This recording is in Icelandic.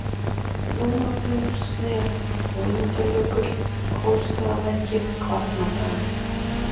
Lómagnúpsnef, Ögmundarjökull, Kolsstaðalækir, Kvarnárdalur